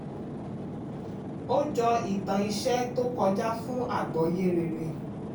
ó jọ ìtàn iṣẹ́ tó kọjá fún agbọ́ye rere.